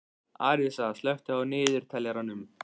Arisa, slökktu á niðurteljaranum.